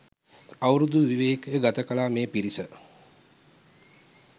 අවුරුදු විවේකය ගතකළ මේ පිරිස